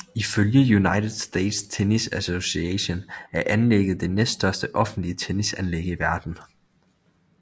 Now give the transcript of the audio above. Ifølge United States Tennis Association er anlæget det næststørste offentlige tennisanlæg i verden